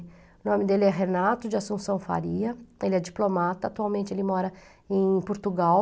O nome dele é Renato de Assumpção Faria, ele é diplomata, atualmente ele mora em Portugal.